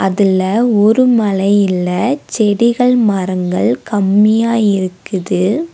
இதுல ஒரு மலை இல்ல செடிகள் மரங்கள் கம்மியா இருக்குது.